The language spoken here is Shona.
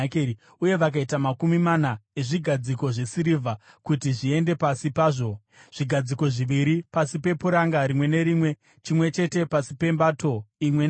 uye vakaita makumi mana ezvigadziko zvesirivha kuti zviende pasi pazvo, zvigadziko zviviri pasi pepuranga rimwe nerimwe, chimwe chete pasi pembato imwe neimwe.